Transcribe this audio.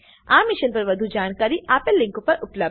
આ મિશન પર વધુ જાણકારી આપેલ લીંક પર ઉપબ્ધ છે